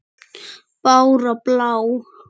Bára blá!